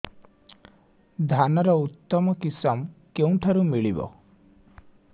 ଧାନର ଉତ୍ତମ କିଶମ କେଉଁଠାରୁ ମିଳିବ